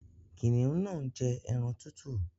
Kìnìún náà ń jẹ́ ẹran tútù